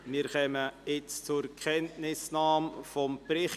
Wir kommen jetzt zur Kenntnisnahme des Berichts.